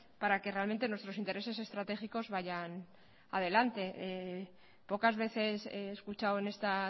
para que realmente nuestros intereses estratégicos vayan adelante pocas veces he escuchado en esta